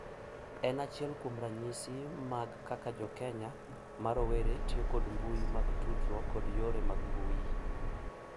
En achiel kuom ranyisi mag kaka jo Kenya ma rowere tiyo kod mbui mag tudruok kod yore mag mbui